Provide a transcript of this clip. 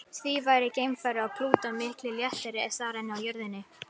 Því væri geimfari á Plútó miklu léttari þar en á jörðinni.